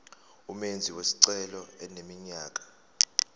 umenzi wesicelo eneminyaka